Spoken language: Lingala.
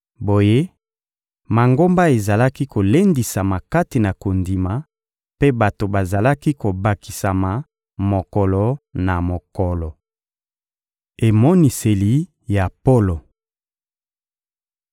Boye, Mangomba ezalaki kolendisama kati na kondima, mpe bato bazalaki kobakisama mokolo na mokolo. Emoniseli ya Polo